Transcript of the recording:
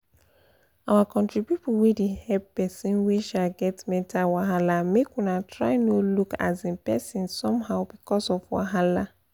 our country pipu wey dey hep person wey um get mental wahala make una try no look um persin somehow becos of wahala